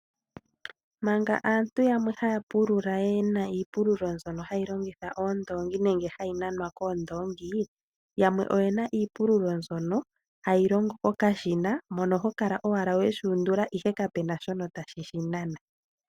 Manga aantu yamwe haya pulula yena iipululo mbyoka hayi longitha oondongi nenge hayi nanwa koondongi, yamwe oyena iipululo mbyoka hayi longo kokashina , ano oho kala ashike toshi undula ihe kapena shoka tashi shi nana.